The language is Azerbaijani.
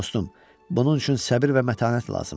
Dostum, bunun üçün səbir və mətanət lazımdır.